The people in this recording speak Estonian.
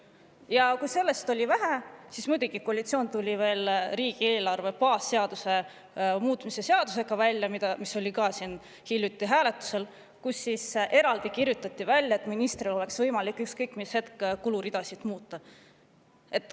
vähe, siis muidugi, koalitsioon tuli välja veel riigieelarve baasseaduse muutmise seadusega, mis oli ka siin hiljuti hääletusel, kus kirjutati eraldi välja see, et ministril oleks võimalik ükskõik mis hetk kuluridasid muuta.